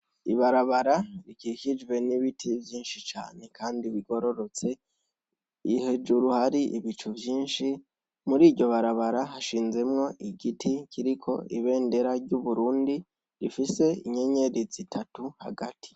Ibarabara rikikijwe n’ibiti vyinshi cane Kandi bigororotse, hejuru hari ibicu vyinshi, muriryo barabara hashinzemwo igiti kiriko ibendera ry’uburundi, rifise inyenyeri zitatu hagati.